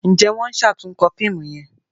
Njé wón ṣatunkọ fíìmù yén?